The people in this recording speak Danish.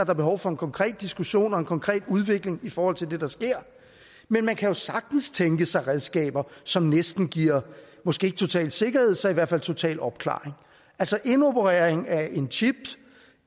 er behov for en konkret diskussion og en konkret udvikling i forhold til det der sker men man kan jo sagtens tænke sig redskaber som næsten giver måske ikke total sikkerhed men så i hvert fald total opklaring altså indoperering af en chip